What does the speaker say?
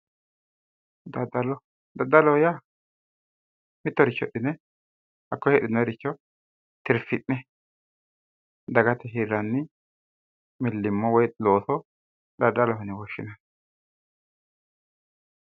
Daddalo, daddaloho yaa mitoricho hidhine hakkoye hidhinooyiiricho tirfi'ne dagate hirranni millimmo woyi looso daddaloho yine woshshinanni.